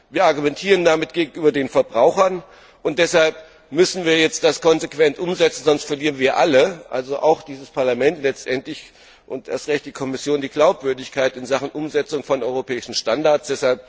Wir argumentieren damit gegenüber den Verbrauchern, und deshalb müssen wir das konsequent umsetzen, sonst verlieren wir alle letztendlich auch dieses Parlament und erst recht die Kommission die Glaubwürdigkeit in Sachen Umsetzung von europäischen Standards.